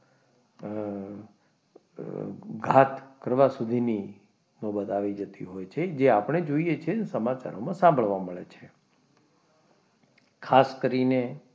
અમ ઘાત કરવા સુધીની નોબત આવી જતી હોય છે જે આપણે જોઈએ છીએ અને સમાચારમાં સાંભળવા મળે છે ખાસ કરીને,